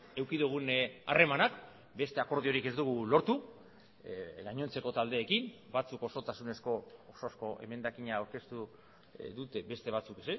eduki dugun harremanak beste akordiorik ez dugu lortu gainontzeko taldeekin batzuk osotasunezko osozko emendakina aurkeztu dute beste batzuk